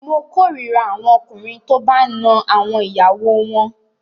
Mo korira àwọn ọkùnrin tó bá a ń na àwọn ìyàwó wọn.